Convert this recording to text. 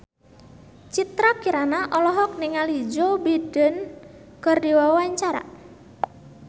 Citra Kirana olohok ningali Joe Biden keur diwawancara